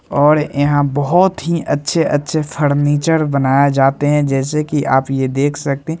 और यहां बहुत ही अच्छे-अच्छे फर्नीचर बनाया जाते हैं जैसे कि आप ये देख ही सकते हैं।